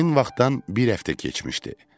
Həmin vaxtdan bir həftə keçmişdi.